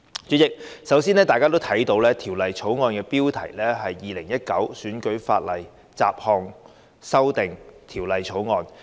主席，《條例草案》的標題是《2019年選舉法例條例草案》。